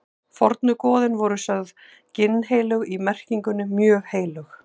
Fornu goðin voru sögð ginnheilög í merkingunni mjög heilög.